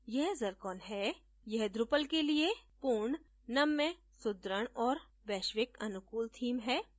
यह zircon हैयह drupal के लिए पूर्ण नम्य सुदृढ़ और वैश्विक अनुकूल theme है